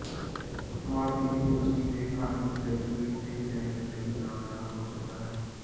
ਮਾਲਕ ਯੂਨੀਵਰਸਿਟੀ ਦੇ ਖਾਲੀ ਗ੍ਰੈਜੂਏਟ ਤੇ ਲੈਣ ਲਈ ਨਾ ਡਰ ਹੋ ਸਕਦਾ ਹੈ